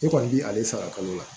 E kɔni bi ale sara kalo la